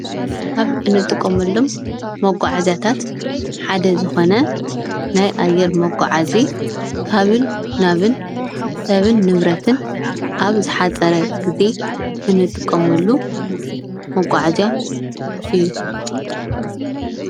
ካብ እንጥቀመሎም መጋዓዝያት ሓደ ዝኮነ ሰብን ንብረትን ኣብ ዝሓፀረ ግዜ እንጥቀመሉ መጉዓዝያ እዩ።